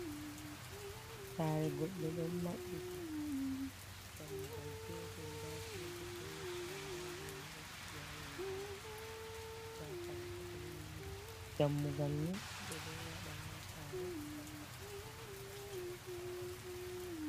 Sare goɗɗe ɗon maɓɓiti dammugal petel nda kolbeti ha les mai, nda gene ɗo fuɗi ha yonde mai, nda kare bo ɗo liri. Dammugal ni ɓe ɗo waɗa ha sare ngam nastugo himɓe ha nder sare mai.